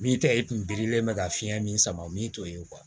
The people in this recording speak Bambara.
Min tɛ i kun birilen bɛ ka fiɲɛ min sama min t'o ye